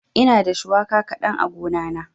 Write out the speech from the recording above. Ina da shuwaka kaɗan a gona na.